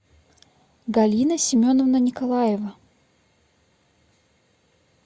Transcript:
галина семеновна николаева